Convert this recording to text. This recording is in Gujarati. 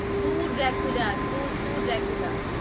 તું જતો રે